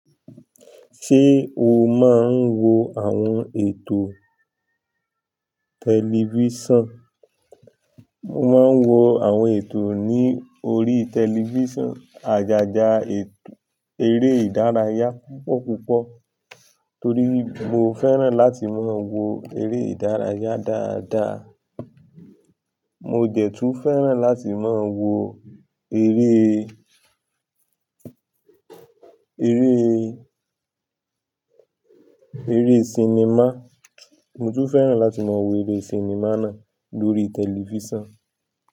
Ṣé o máa ń wo àwọn ètò tẹlifíṣàn? Mo máa ń wo àwọn ètò ní orí tẹlifíṣàn. Àjájá ètò eré ìdárayá púpọ̀ púpọ̀ torí mo fẹ́ràn láti máa wo eré ìdárayá dáadáa. Mo dẹ tú fẹ́ràn láti máa wo eré, eré, eré sinimá. Mo tún fẹ́ràn láti máa wo eré sinimá náà lórí tẹlifíṣàn.